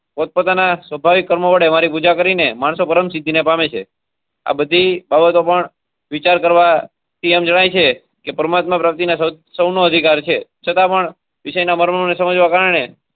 પોતપોતાના સ્વાભાવિક કર્મો વડે મારી પૂજા કરીને માણસો પરમ સિદ્ધી ને પામે છે. આ બધી બાબતો પણ વિચાર કરવા થી એમ જણાય છે કે પરમાત્મા પ્રતિ ના સૌ નો અધિકાર છે છતા પણ વિષય ના મર્મ ને સમજવા કારણે.